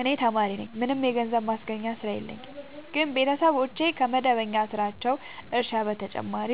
እኔ ተማሪነኝ ምንም የገንዘብ ማስገኛ ስራ የለኝም ግን ቤተሰቦቼ ከመደበኛ ስራቸው እርሻ በተጨማሪ